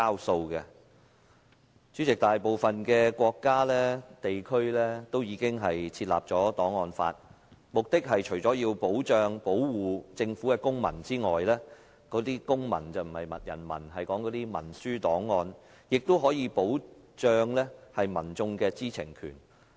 代理主席，大部分的國家和地區均已制定檔案法，目的除了保護政府的公文外——這裏所說的"公文"並不是人民，說的是文書檔案——亦可以保障民眾的知情權。